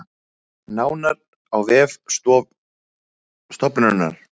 Nánar á vef stofnunarinnar